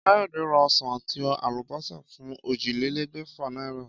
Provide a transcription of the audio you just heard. Káyòdé ra osàn àti àlùbósà fún ójìlélégbèfà náírà